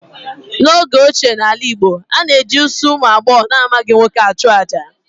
N'oge ochie n'ala Igbo, a na-eji isi ụmụ agbọghọ na-amaghị nwoke achụ àjà